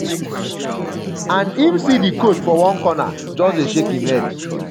and im see di coach for one corner just dey shake im head.